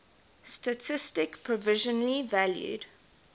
statistik provisionally valued